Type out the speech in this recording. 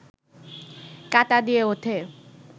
কাঁটা দিয়ে ওঠে